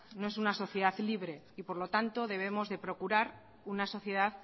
no es una sociedad libre y por lo tanto debemos de procurar una sociedad